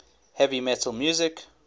heavy metal music